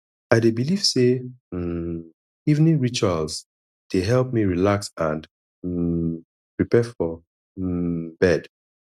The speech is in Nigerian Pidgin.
i dey believe say um evening rituals dey help me relax and um prepare for um bed